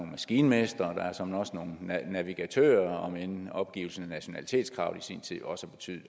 maskinmestre og der er såmænd også nogle navigatører om end opgivelsen af nationalitetskravet i sin tid også betød